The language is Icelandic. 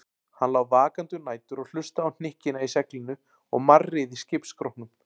Hann lá vakandi um nætur og hlustaði á hnykkina í seglinu og marrið í skipsskrokknum.